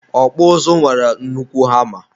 ọkpụ ụzụ nwere nnukwu hama.